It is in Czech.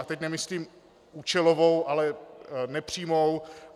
A teď nemyslím účelovou, ale nepřímou.